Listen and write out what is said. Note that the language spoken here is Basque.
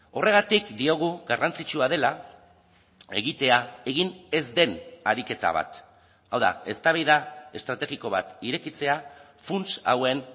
horregatik diogu garrantzitsua dela egitea egin ez den ariketa bat hau da eztabaida estrategiko bat irekitzea funts hauen